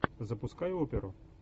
запускай оперу